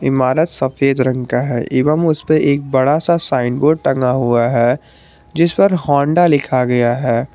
इमारत सफेद रंग का है एवं उसपे एक बड़ा सा साइन बोर्ड टंगा हुआ है जिसपर होंडा लिखा गया है।